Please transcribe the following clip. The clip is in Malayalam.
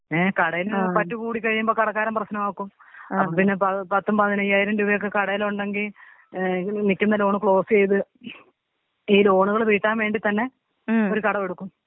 ഏ കടയിൽ പറ്റ് കൂടി കഴിയുമ്പം കടക്കാരൻ പ്രശ്നമാക്കും. അപ്പൊ പിന്നെ പത്തും പതിനയ്യായിരം രൂപയും കടേല്ണ്ടെങ്കി ഏ നിക്കുന്ന ലോൺ ക്ലോസീത് ഈ ലോണുകൾ വീട്ടാൻ വേണ്ടി തന്നെ. ഒരു കടമെടുക്കും.